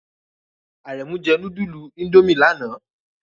Aremu jẹ nudulu Indomie lana